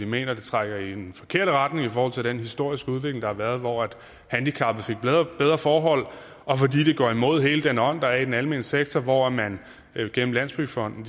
mener det trækker i den forkerte retning i forhold til den historiske udvikling der har været hvor handicappede har fået bedre forhold og fordi det går imod hele den ånd der er i den almene sektor hvor man igennem landsbyggefonden